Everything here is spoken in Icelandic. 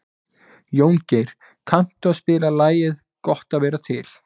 Jóngerð, kanntu að spila lagið „Gott að vera til“?